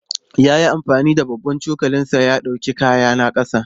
Ya yi amfani da babban cokalinsa ya ɗauki kayana ƙasa.